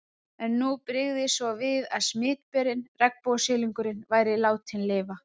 En nú brygði svo við að smitberinn, regnbogasilungurinn, væri látinn lifa.